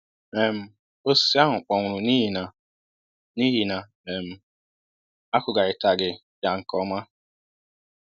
um osisi ahụ kpọnwụrụ n'ihi na n'ihi na um akụgharitaghi ya nke ọma